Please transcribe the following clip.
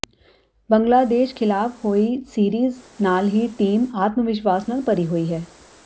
ਬੰਗਲਾਦੇਸ਼ ਖ਼ਿਲਾਫ਼ ਹੋਈ ਸੀਰੀਜ਼ ਨਾਲ ਹੀ ਟੀਮ ਆਤਮਵਿਸ਼ਵਾਸ ਨਾਲ ਭਰੀ ਹੋਈ ਹੈ